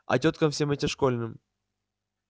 а тёткам всем этим школьным